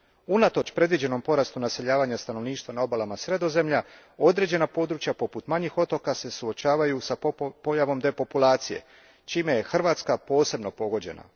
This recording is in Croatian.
Unatoč predviđenom porastu naseljavanja stanovništva na obalama Sredozemlja, određena područja, poput manjih otoka, suočavaju se s pojavom depopulacije, čime je Hrvatska posebno pogođena.